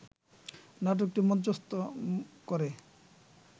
নাটকটি মঞ্চত্ব করে